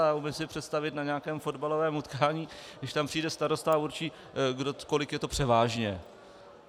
A umím si představit na nějakém fotbalovém utkání, když tam přijde starosta a určí, kolik je to "převážně".